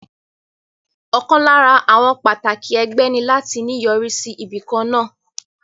Ọ̀kan lára àwọn pàtàkì ẹgbẹ́ ní láti ní yọrí sí ibìkan náà